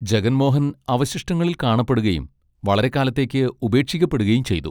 ജഗൻ മോഹൻ അവശിഷ്ടങ്ങളിൽ കാണപ്പെടുകയും വളരെക്കാലത്തേക്ക് ഉപേക്ഷിക്കപ്പെടുകയും ചെയ്തു.